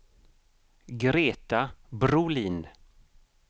Greta Brolin